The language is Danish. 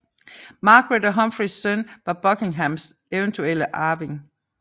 Margaret og Humphreys søn var Buckinghams eventuelle arving